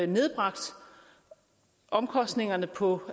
nedbragt omkostningerne på